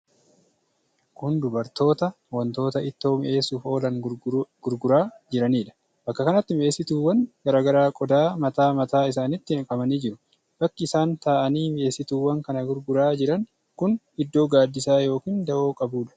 Kun dubartoota wantoota ittoo mi'eessuuf oolan gurguraa jiranidha. Bakka kanatti mi'eessituuwwan garaa garaa qodaa mataa mataa isaanitti naqamanii jiru. Bakki isaan taa'anii mi'eessituuwwan kana gurguraa jiran kun iddoo gaaddisa yookiin dawoo qabudha.